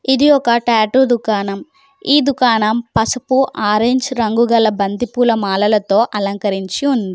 ఇది ఒక టాటూ దుకాణం ఈ దుకాణం పసుపు ఆరెంజ్ రంగు గల బంతిపూల మాలలతో అలంకరించి ఉంది.